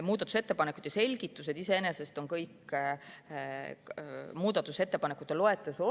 Muudatusettepanekute selgitused on kõik muudatusettepanekute loetelus olemas.